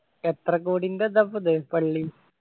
എത്ര കോടിൻ്റെ ഇതാപ്പോ ഇത് പള്ളി